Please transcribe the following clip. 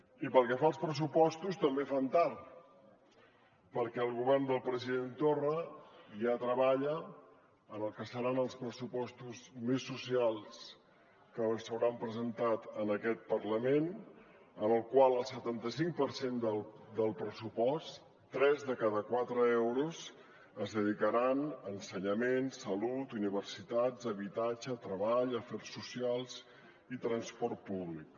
i pel que fa als pressupostos també fan tard perquè el govern del president torra ja treballa en el que seran els pressupostos més socials que s’hauran presentat en aquest parlament en què el setanta cinc per cent del pressupost tres de cada quatre euros es dedicaran a ensenyament salut universitats habitatge treball afers socials i transport públic